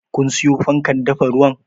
Kun siyo fankar dafa ruwan?